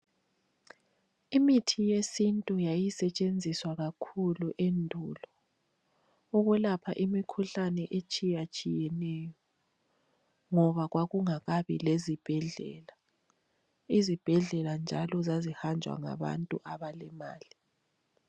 Imithi yesintu yayisetshenziswa kakhulu endulo ukwelapha imikhuhlane etshiyatshiyeneyo ngoba kwakungakabi lezibhedlela, ezibhedlela njalo zazihanjwa ngabantu abalemali